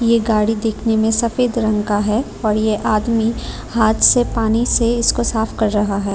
ये गाड़ी देखने में सफेद रंग का है और ये आदमी हाथ से पानी से इसको साफ कर रहा है।